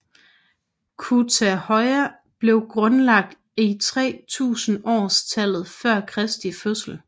Kütahya blev grundlagt i 3000 års tallet før kristi fødsel